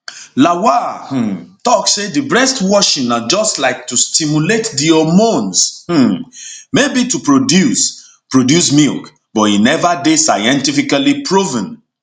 lawal um tok say di breast washing na just like to stimulate di hormones um maybe to produce produce milk but e neva dey scientifically proven